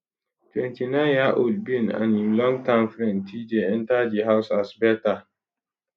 29yearold ben and im long term friend tjay enta di house as beta